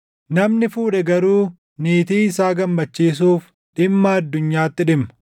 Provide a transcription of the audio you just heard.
Namni fuudhe garuu niitii isaa gammachiisuuf dhimma addunyaatti dhimma;